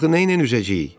Axı nə ilə üzəcəyik?